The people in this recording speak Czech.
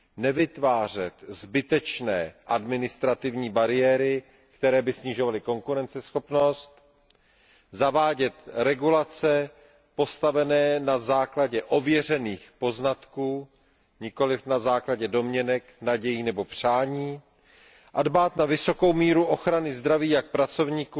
Nevytvářet zbytečné administrativní bariéry, které by snižovaly konkurenceschopnost, zavádět regulace postavené na základě ověřených poznatků, nikoliv na základě domněnek, nadějí nebo přání, a dbát na vysokou míru ochrany zdraví jak pracovníků,